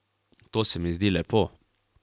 To se mi zdi lepo.